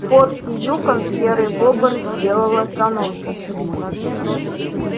в форте юкон серый бобр сделал остановку